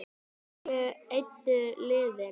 Hverju eyddu liðin?